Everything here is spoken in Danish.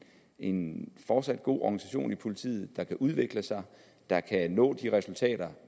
en fortsat god organisation i politiet der kan udvikle sig der kan nå de resultatkrav